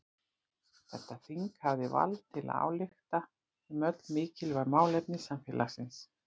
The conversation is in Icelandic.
Þetta þing hafði vald til að álykta um öll mikilvæg málefni samfélagsins.